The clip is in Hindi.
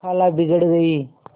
खाला बिगड़ गयीं